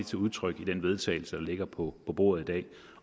til udtryk i den vedtagelse der ligger på bordet i dag